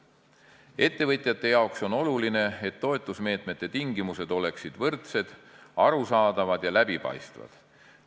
Ettevõtjate jaoks on oluline, et toetusmeetmete tingimused oleksid võrdsed, arusaadavad ja läbipaistvad.